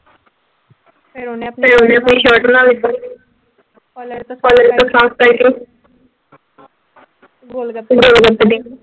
ਫਿਰ ਉਹਨੇ ਫਿਰ ਉਹਨੇ ਆਪਣੀ ਸਰਟ ਨਾਲ ਏਦਾਂ ਕੋਲਰ ਤੋਂ ਕੋਲਰ ਤੋਂ ਸਾਫ਼ ਕਰਕੇ ਗੋਲਗੱਪੇ ਗੋਲਗੱਪੇ ਦੇਣ